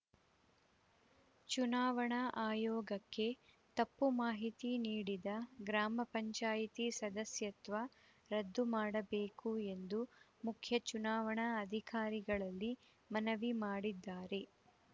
ಚುನಾವಣಾ ಆಯೋಗಕ್ಕೆ ತಪ್ಪು ಮಾಹಿತಿ ನೀಡಿದ ಗ್ರಾಮ ಪಂಚಾಯಿತಿ ಸದಸ್ಯತ್ವ ರದ್ದು ಮಾಡಬೇಕು ಎಂದು ಮುಖ್ಯ ಚುನಾವಣಾ ಅಧಿಕಾರಿಗಳಲ್ಲಿ ಮನವಿ ಮಾಡಿದ್ದಾರೆ